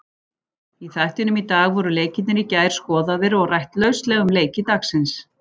Í þættinum í dag voru leikirnir í gær skoðaðir og rætt lauslega um leiki dagsins.